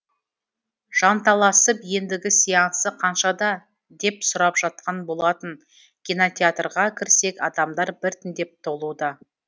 жанталасып ендігі сеансы қаншада деп сұрап жатқан болатын кинотеатрға кірсек адамдар бірітіндеп толуда